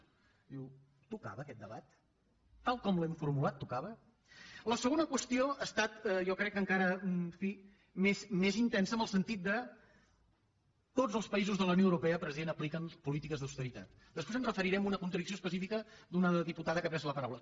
diu tocava aquest debat tal com l’hem formulat tocava la segona qüestió ha estat jo crec que encara en fi més intensa en el sentit que tots els països de la unió europea president apliquen polítiques d’austeritat després em referiré a una contradicció específica d’una diputada que ha pres la paraula